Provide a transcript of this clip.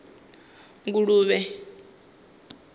nguluvhe